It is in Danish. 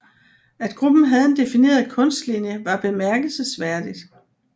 At gruppen havde en defineret kunstlinje var bemærkelsesværdigt